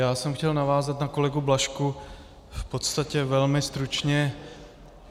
Já jsem chtěl navázat na kolegu Blažka v podstatě velmi stručně.